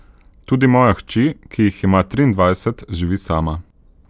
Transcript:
Tudi moja hči, ki jih ima triindvajset, živi sama.